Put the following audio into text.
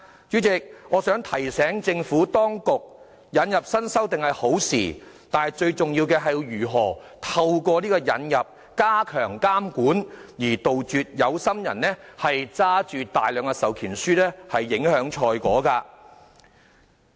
主席，我希望提醒政府當局，引入新修訂是好事，但最重要的是，如何透過引入修訂來加強監管，杜絕有心人握着大量授權書影響賽果的情況。